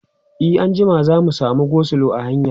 e anjima za'a samu go slow a hanya